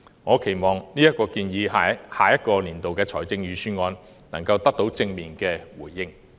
我期望這項建議在下年度的預算案能夠得到正面回應。